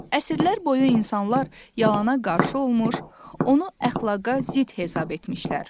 Əsrlər boyu insanlar yalana qarşı olmuş, onu əxlaqa zidd hesab etmişlər.